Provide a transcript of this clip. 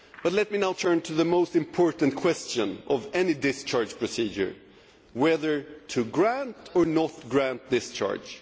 Let me turn to the most important question of any discharge procedure whether or not to grant discharge.